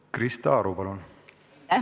Krista Aru, palun!